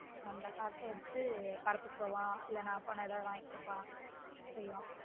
அந்தக் காசு வச்சு படத்துக்கு போவான் இல்லேன்னா நான் போனா எதாவது வாங்கி கொடுப்பான் செய்வான்